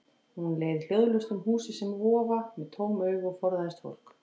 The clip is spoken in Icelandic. Hún leið hljóðlaust um húsið sem vofa, með tóm augu og forðaðist fólk.